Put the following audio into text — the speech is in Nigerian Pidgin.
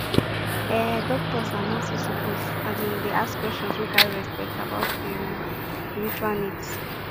ehh doctors and nurses suppose asin dey ask questions wey carry respect about ehm spiritual needs